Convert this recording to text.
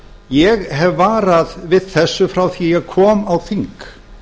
ég hef varað við þessu frá því að ég kom á þing